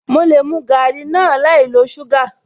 Mo lè mu garri náà láì lo suga